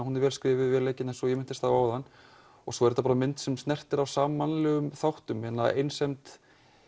hún er vel skrifuð vel leikin eins og ég minntist á áðan svo er þetta mynd sem snertir á þáttum einsemd